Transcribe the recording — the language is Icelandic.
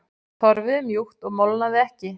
Torfið var mjúkt og molnaði ekki.